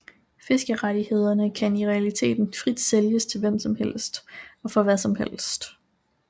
Fiskerettighederne kan i realiteten frit sælges til hvem som helst og for hvad som helst